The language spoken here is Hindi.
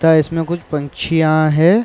ता इसमें कुछ पंछियाँ हैं।